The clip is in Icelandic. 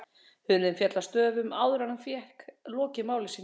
Hurðin féll að stöfum, áður en hann fékk lokið máli sínu.